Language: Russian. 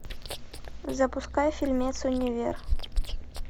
запускай фильмец универ